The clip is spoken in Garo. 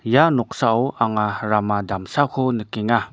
ia noksao anga rama damsako nikenga.